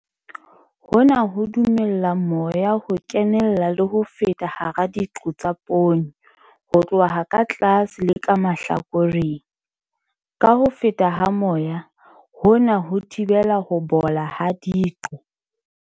Hona ho dumella moya ho kenella le ho feta hara diqo tsa poone ho tloha ka tlase le ka mahlakoreng. Ka ho feta ha moya, hona ho thibela ho bola ha diqo.